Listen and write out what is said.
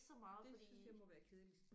Det synes jeg må være kedeligt